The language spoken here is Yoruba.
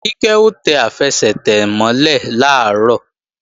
Kíkẹ́ ó tẹ àfẹsẹ̀tẹ̀ mọ́ lẹ̀ làárọ̀